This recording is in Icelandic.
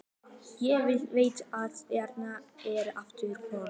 Ég veit að þeirra er aftur von.